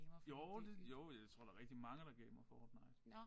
Jo det jo jeg tror der rigtig mange der gamer Fortnite